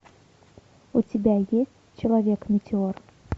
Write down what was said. у тебя есть человек метеор